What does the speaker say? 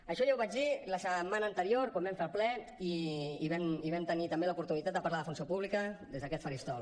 això ja ho vaig dir la setmana anterior quan vam fer el ple i vam tenir també l’oportunitat de parlar de funció pública des d’aquest faristol